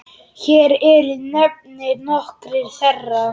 Hér eru nefndir nokkrir þeirra